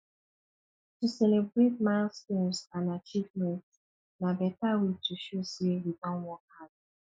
to celebrate milestones and achievements na beta way to show sey we don work hard